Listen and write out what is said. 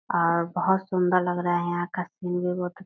और बहुत सुन्दर लग रहा है यहाँ का सीन भी बहु --